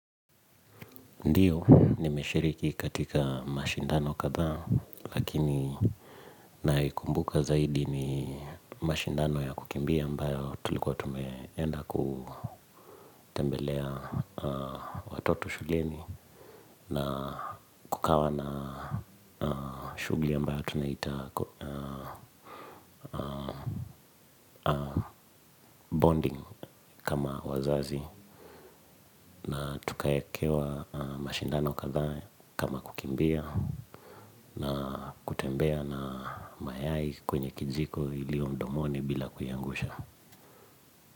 Ndiyo nimeshiriki katika mashindano kadhaa lakini naikumbuka zaidi ni mashindano ya kukimbia ambayo tulikuwa tumeenda kutembelea watoto shuleni na kukawa na shugli ambayo tunaita bonding kama wazazi na tukaekewa mashindano kadhaa kama kukimbia na kutembea na mayai kwenye kijiko iliyo mdomoni bila kuiangusha.